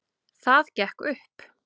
Það gekk upp